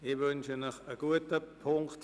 Ich wünsche Ihnen einen guten Appetit.